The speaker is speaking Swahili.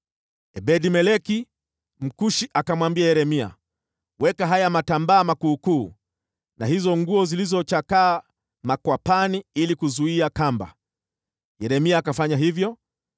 Ebed-Meleki Mkushi akamwambia Yeremia, “Weka haya matambaa makuukuu na hizo nguo zilizochakaa makwapani ili kuzuia kamba.” Yeremia akafanya hivyo,